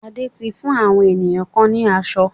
Ade ti fún àwọn ènìyàn kan ni aṣọ?